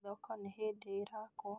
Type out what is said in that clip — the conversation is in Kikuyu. Thoko nĩ hĩndĩ ĩrakwo